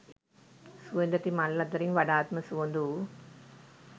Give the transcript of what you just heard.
සුවඳැති මල් අතරින් වඩාත්ම සුවඳ වූ